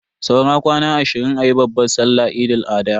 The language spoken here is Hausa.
Saura kwana ashirin ayi babban sallan Eid Al-adha.